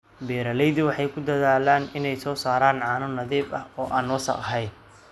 Beeraleydu waxay ku dadaalaan inay soo saaraan caano nadiif ah oo aan wasakh ahayn.